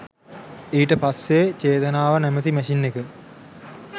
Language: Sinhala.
ඊට පස්සේ චේතනාව නැමැති මැෂින් එක